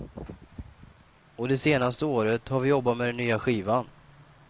Och det senaste året har vi jobbat med nya skivan.